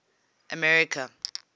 america